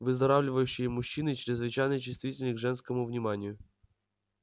выздоравливающие мужчины чрезвычайно чувствительны к женскому вниманию